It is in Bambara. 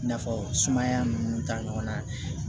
I n'a fɔ sumaya ninnu ta ɲɔgɔnna